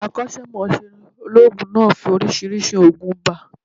Akọ́sẹ́mọsẹ́ olóòògùn náà fi oriísirísi ògùn ibà